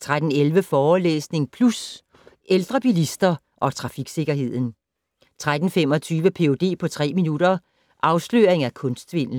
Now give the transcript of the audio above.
13:11: Forelæsning Plus - Ældre bilister og trafiksikkerheden 13:25: Ph.d. på tre minutter - Afsløring af kunstsvindel